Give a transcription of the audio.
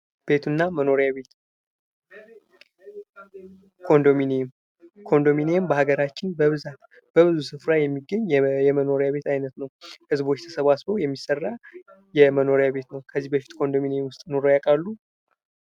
ቤትና መኖሪያ ቤት ኮንዶሚኒየም ኮንዶሚኒየም በሀገራችን በብዙ ስፍራ የሚገኝ የመኖሪያ ቤት አይነት ነው። ህዝቦች ተሰባስበው የሚሰራ የመኖሪያ ቤት አይነት ነው። ከዚህ በፊት ኮንዶሚኒየም ውስጥ ኑረው ያውቃሉ?